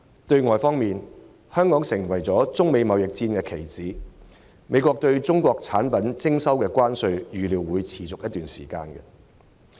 對外方面，香港成為中美貿易戰的棋子，美國對中國產品徵收的關稅預料會維持一段時間。